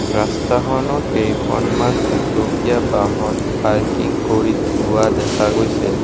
ৰাস্তাখনত কেইখনমান দুচকীয়া বাহন পাৰ্কিং কৰি থোৱা দেখা গৈছে।